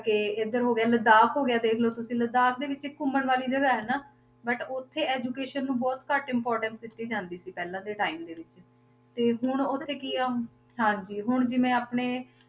ਕਿ ਇੱਧਰ ਹੋ ਗਿਆ ਲਾਦਾਖ ਹੋ ਗਿਆ ਦੇਖ ਲਓ ਤੁਸੀਂ ਲਾਦਾਖ ਵਿੱਚ ਘੁੰਮਣ ਵਾਲੀ ਜਗ੍ਹਾ ਹੈ ਨਾ but ਉੱਥੇ education ਨੂੰ ਬਹੁਤ ਘੱਟ importance ਦਿੱਤੀ ਜਾਂਦੀ ਸੀ ਪਹਿਲਾਂ ਦੇ time ਦੇ ਵਿੱਚ, ਤੇ ਹੁਣ ਉੱਥੇ ਕੀ ਆ, ਹਾਂਜੀ ਹੁਣ ਜਿਵੇਂ ਆਪਣੇ,